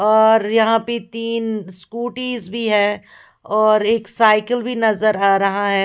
और यहाँ पे तीन स्कूटी भी हैं और एक साइकिल भी नजर आ रहा है।